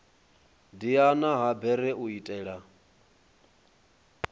diana ha bere u itela